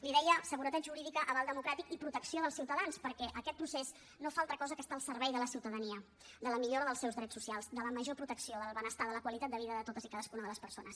li deia seguretat jurídica aval democràtic i protecció dels ciutadans perquè aquest procés no fa altra cosa que estar al servei de la ciutadania de la millora dels seus drets socials de la major protecció del benestar de la qualitat de vida de totes i cadascuna de les persones